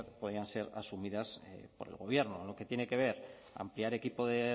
podrían ser asumidas por el gobierno lo que tiene que ver ampliar el equipo de